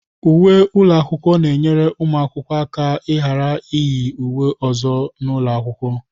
Uwe ụlọ akwụkwọ na-enyere ụmụ akwụkwọ aka ịghara iyi uwe ọzọ n'ụlọ akwụkwọ.